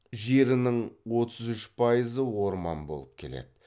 жерінің отыз үш пайызы орман болып келеді